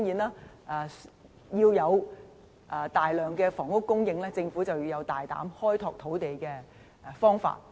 當然，要有大量房屋供應，政府便要有大膽的開拓土地方法。